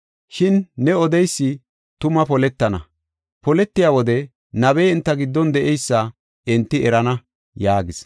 Shin ne odeysi tuma poletana; poletiya wode, nabey enta giddon de7eysa enti erana” yaagis.